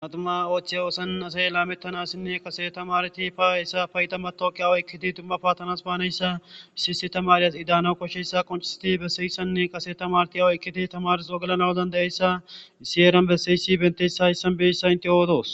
aduma oothiy oosan asay laamettanassinne qaseta maarti paessa payda matoki awoykkiti dumma paattanas baaneyssa issiyisi tamaryas idaano koshshessa qonistiti besseyissanne qase ta marti awoykkiti tamars wogelanawdan dayeyssaissi eeran besseysi bentessa issan beyssa inte oodoos